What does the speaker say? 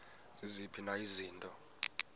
ziziphi na izinto